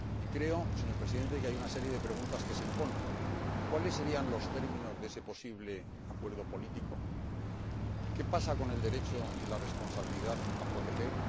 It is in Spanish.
Creo, señor Presidente, que hay una serie de preguntas que se imponen ¿cuáles serían los términos de ese posible acuerdo político? ¿Qué pasa con el derecho y la responsabilidad de proteger?